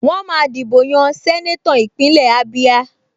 Wọ́n máa dìbò yan sẹ́nétọ̀ Ìpínlẹ̀ Ábíá